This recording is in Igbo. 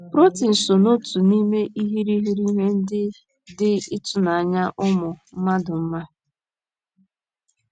Protin so n’otu n’ime irighiri ihe ndị dị ịtụnanya ụmụ mmadụ ma.